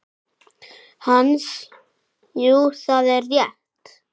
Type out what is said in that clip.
Hansa: Jú, það er rétt.